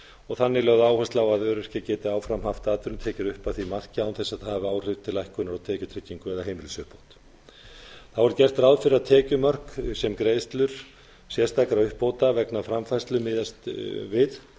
og þannig lögð áhersla á að öryrkjar geti áfram haft atvinnutekjur upp að því marki án þess að það hafi áhrif til lækkunar á tekjutryggingu eða heimilisuppbót þá er gert ráð fyrir að tekjumörk sem greiðslur sérstakra uppbóta vegna framfærslu miðast við það